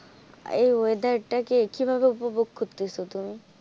এই weather টাকে কিভাবে উপভোগ করতেছো তুমি?